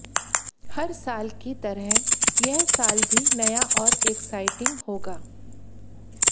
हर साल की तरह यह साल भी नया और एक्साइटिंग होगा